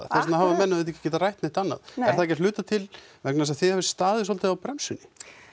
þess vegna hafa menn auðvitað ekki getað rætt neitt annað nei er það ekki að hluta til vegna þess að þið hafið staðið svolítið á bremsunni